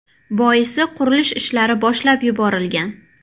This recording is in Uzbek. Boisi, qurilish ishlari boshlab yuborilgan.